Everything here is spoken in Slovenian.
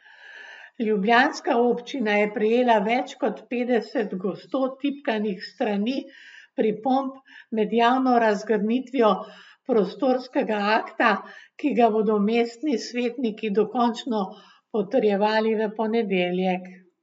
Ljubljanska občina je prejela več kot petdeset gosto tipkanih strani pripomb med javno razgrnitvijo prostorskega akta, ki ga bodo mestni svetniki dokončno potrjevali v ponedeljek.